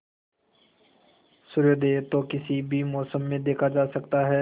सूर्योदय तो किसी भी मौसम में देखा जा सकता है